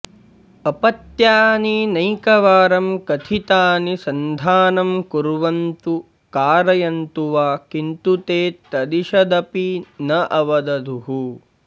अपत्यानि नैकवारं कथितानि सन्धानं कुर्वन्तु कारयन्तु वा किन्तु ते तदिषदपि न अवदधुः